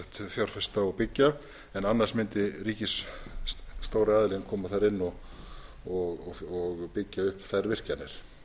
fjárfesta og byggja en annars mundi ríkis stóri aðilinn koma þar inn og byggja upp þær virkjanir